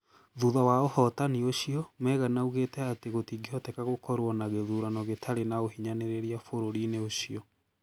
Thutha wa ũhootani ũcio, Megan augĩte atĩ gũtingĩhoteka gũkorwo na gĩthurano gĩtarĩ na ũhinyanĩrĩria bũrũri-inĩ ũcio.